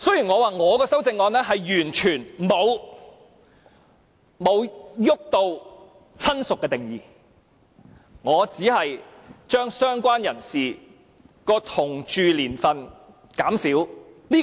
我的修正案完全沒有觸及"親屬"的定義，只把政府要求的"相關人士"的同住年數減少。